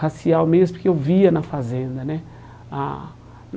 racial mesmo, porque eu via na fazenda né a.